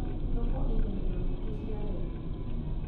Thoko ĩna ĩndo nyingĩ cia raithĩ